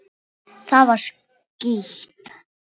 Það var skítt.